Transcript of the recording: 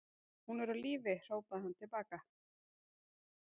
Hún er á lífi, hrópaði hann til baka.